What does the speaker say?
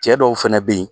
Cɛ dɔw fɛnɛ be yen